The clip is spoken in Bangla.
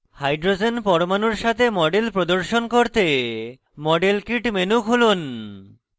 hydrogen পরমাণুর সাথে model প্রদর্শন করতে model kit menu খুলুন